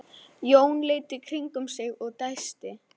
Jón leit í kringum sig og dæsti.